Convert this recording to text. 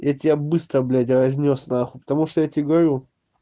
я тебя быстро блядь разнёс нахуй потому что я тебе говорю